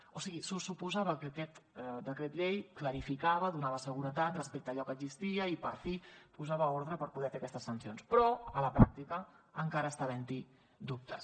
o sigui se suposava que aquest decret llei clarificava donava seguretat respecte a allò que existia i per fi posava ordre per poder fer aquestes sancions però a la pràctica encara està havent hi dubtes